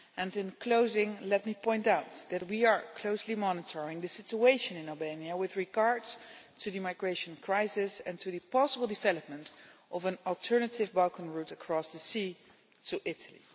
In closing, let me point out that we are closely monitoring the situation in Albania with regard to the migration crisis and the possible development of an alternative Balkan route across the sea to Italy.